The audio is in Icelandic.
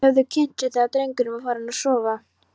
Þeir höfðu kynnt sig þegar drengurinn var farinn að sofa.